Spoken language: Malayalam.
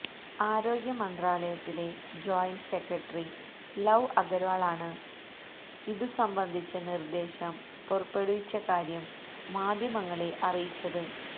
ആരോഗ്യ മന്ത്രാലയത്തിലെ ജോയിന്റ് സെക്രട്ടറി ലവ് അഗര്വാളാണ് ഇതു സംബന്ധിച്ച നിര്ദേശം പുറപ്പെടുവിച്ച കാര്യം മാധ്യമങ്ങളെ അറിയിച്ചത്